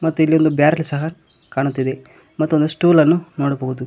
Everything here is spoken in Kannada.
ಮತ್ತು ಇಲ್ಲಿ ಒಂದು ಬ್ಯಾರಲ್ ಸಹ ಕಾಣುತ್ತಿದೆ ಮತ್ತು ಒಂದು ಸ್ಟೂಲ ನ್ನು ನೋಡಬಹುದು.